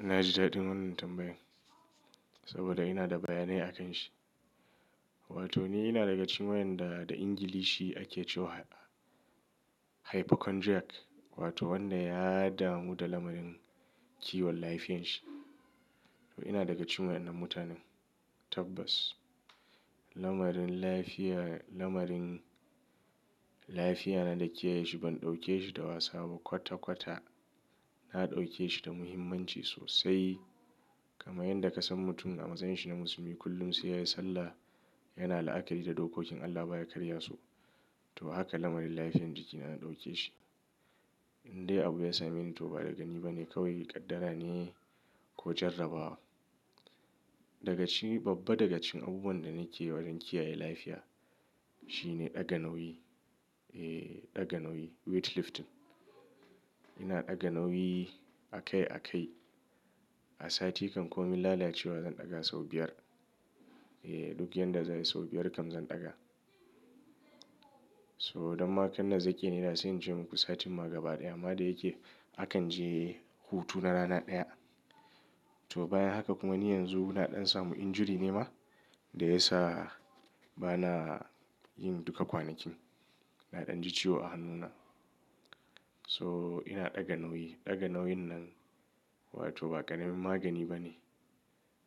Na ji daɗin wannan tambayan saboda ina da bayanai akan shi. Wato ni ina daga cikin wayanda da Ingilishi ake cewa hypochondriac wato wanda ya damu da lamarin kiwon lafiyanshi. To ina daga cikin wannan mutanen tabbas. Lamarin lafiya, lamarin lafiya na da kiyaye shi ban ɗauke shi da wasa ba kwata kwata. Na ɗauke shi da muhimmanci sosai kamar yadda ka san mutum a matsayin shi na musulmi kullum sai ya yi sallah yana la'akari da dokokin Allah baya karya su. To haka lamarin lafiyan jiki na na ɗauke shi. Indai abu ya same ni to ba daga ni ba ne kawai kaddara ne ko jarrabawa. Daga cikin, babba daga cikin abubuwan da nake wajen kiyaye lafiya shine ɗaga nauyi, eh ɗaga nauyi weight lifting. Ina ɗaga nauyi a kai a kai. A sati kan ko min lalacewa zan ɗaga sau biyar. Eh duk yadda zanyi sau biyar kan zan ɗaga. So don ma kanna zake ne da sai in ce muku satin ma gaba ɗaya ma da yake akan je hutu na rana ɗaya. To bayan haka kuma ni yanzu na ɗan samu injury ne ma da ya sa ba na yin duka kwanakin. Na ɗan ji ciwo a hannuna. So ina ɗaga nauyi, ɗaga nauyin nan wato ba ƙaramin magani ba ne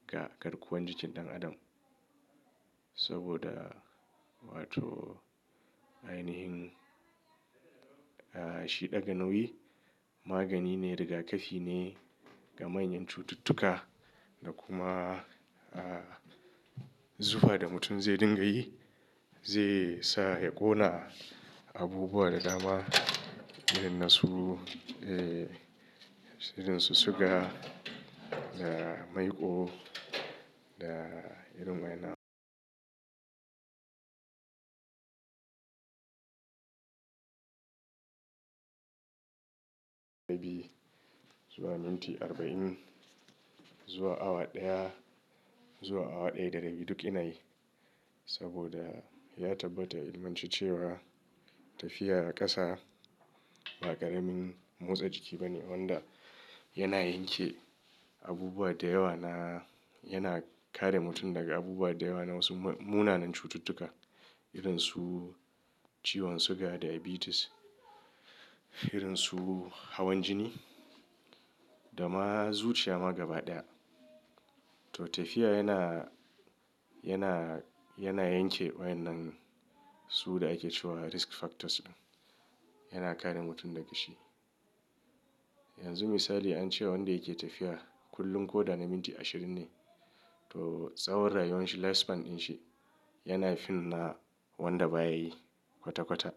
ga garkuwan jikin ɗan adam. Saboda wato a yanayin ah shi ɗaga nauyi magani ne rigakafi ne ga manyan cututtuka da kuma ah zufa da mutum zai dinga yi zai sa ya ƙona abubuwa da dama irin nasu eh irinsu suga da maiko da irin waɗannan. Biyu zuwa minti arba'in zuwa awa ɗaya zuwa awa ɗaya da rabi duk ina yi saboda ya tabbata ilmance cewa tafiya a ƙasa ba ƙaramin motsa jiki ba ne wanda yana yanke abubuwa da yawa na, yana kare mutum daga abubuwa da yawa na wasu mu-munanan cututtuka irinsu ciwon suga diabetes, irinsu hawan jini da ma zuciya ma gaba ɗaya. To tafiya yana, yana, yana yanke wa'inan su da ake cewa risk factors ɗin. Yana kare mutum daga shi. Yanzu misali an ce wanda yake tafiya kullum ko da na minti ashirin ne to tsawon rayuwan shi lifespan ɗin shi yana fin na wanda baya yi kwata kwata.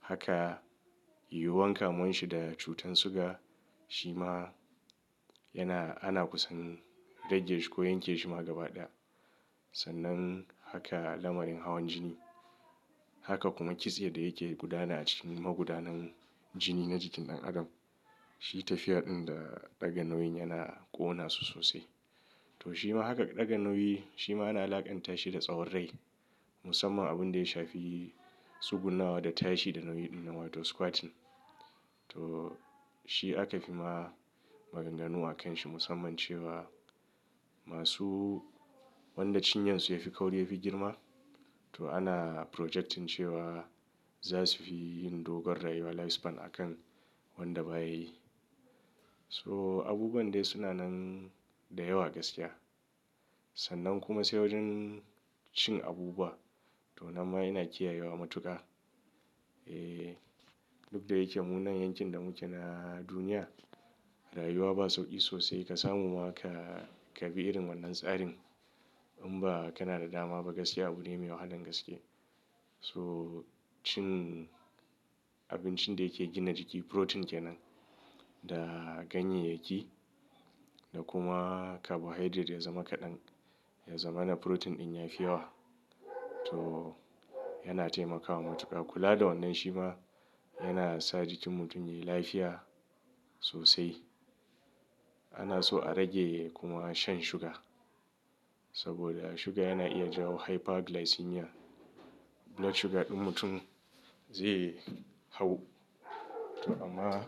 Haka yuwan kamuwan shi da cutar suga shi ma yana, ana kusan rage shi ko yanke shi ma gaba ɗaya. Sannan haka lamarin hawan jini. Haka kuma kitse da yake gudana a cikin magudanar jini na jikin ɗan adam. Shi tafiyar ɗin da ɗaga nauyin yana ƙona su sosai. To shi ma haka ɗaga nauyi shi ma ana la'akanta shi da tsawon rai musamman abun da ya shafi tsugunnawa da tashi da nauyi ɗin nan wato squatting. To shi aka fi ma maganganu a kan shi musamman cewa masu wanda cinyan su yafi kauri yafi girma to ana projecting cewa za su fi yin dogon rayuwa lifespan akan wanda baya yi. So abubuwan dai suna nan da yawa gaskiya. Sannan kuma sai wajen cin abubuwa to nan ma ina kiyayewa matuƙa. Eh duk da yake munanan yankin da muke na duniya rayuwa ba sauƙi sosai ka samu ma ka, ka bi irin wannan tsarin in ba kana da dama ba gaskiya abune mai wahalan gaske. So cin abincin da yake gina jiki protein ke nan da ganyayyaki da kuma carbohydrate ya zama kaɗan. Ya zama na protein ɗin ya fi yawa. To yana taimakawa matuƙa. Kula da wannan shi ma yana sa jikin mutum yayi lafiya sosai. Ana so a rage kuma shan sugar saboda sugar yana iya jawo hyperglycemia. Blood sugar ɗin mutum zai hau. To amma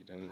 idan.